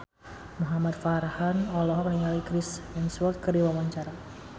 Muhamad Farhan olohok ningali Chris Hemsworth keur diwawancara